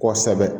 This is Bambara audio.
Kɔsɛbɛ